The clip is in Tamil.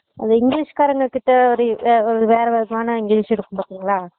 அது english காரங்ககிட்ட ஒரு வே வேற விதமான english இருக்கும் பாத்திங்களா